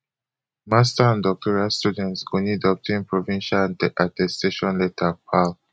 master and doctoral students go need obtain provincial attestation letter pal